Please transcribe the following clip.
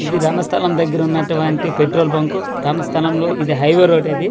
ఇది రణస్థలం దెగ్గర ఉన్నటువంటి పెట్రోల్ బంకు రణస్థలం లో ఇది హైవే రోడ్ ఇది ఈ--